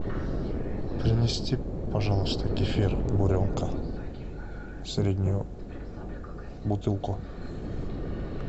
принести пожалуйста кефир буренка среднюю бутылку